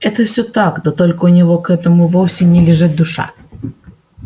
это всё так да только у него к этому вовсе не лежит душа